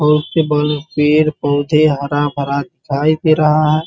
और उसके बगल में पेड़ पौधे हरा भरा दिखाई दे रहा है ।